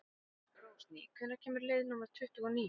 Rósný, hvenær kemur leið númer tuttugu og níu?